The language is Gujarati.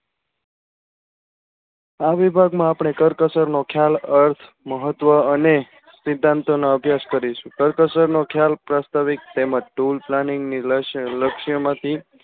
આ વિભાગ માં આપણે કરકસર નો ખ્યાલ અર્થ મહત્વ અને સિધ્ધાંતો ના અભ્યાસ કરીશું કરકસર નો ખ્યાલ પ્રાસ્તાવિક તેમજ tool planning ની લક્ષ લક્ષ્ય માંથી